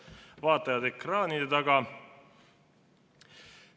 Head vaatajad ekraanide taga!